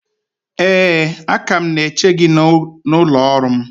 ee, a ka m na-eche gị n’ụlọ ọrụ m